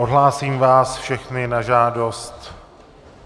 Odhlásím vás všechny na žádost.